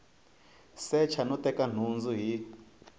secha no teka nhundzu hi